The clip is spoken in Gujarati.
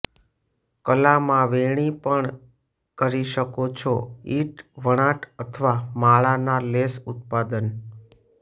કલામાં વેણી પણ કરી શકો છો ઈંટ વણાટ અથવા માળા ના લેસ ઉત્પાદન